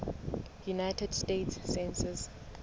united states census